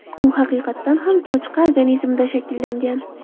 U haqiqatan ham cho‘chqa organizmida shakllangan.